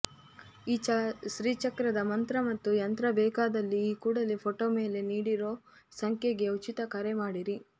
ಶ್ರೀ ಚಕ್ರದ ಮಂತ್ರ ಮತ್ತು ಯಂತ್ರ ಬೇಕಾದಲ್ಲಿ ಈ ಕೂಡಲೇ ಫೋಟೋ ಮೇಲೆ ನೀಡಿರೋ ಸಂಖ್ಯೆಗೆ ಉಚಿತ ಕರೆ ಮಾಡಿರಿ